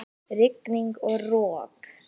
Rigning og rok!